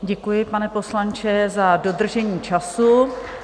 Děkuji, pane poslanče za dodržení času.